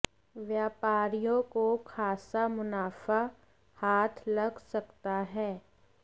व्यापारियों को खासा मुनाफा हाथ लग सकता है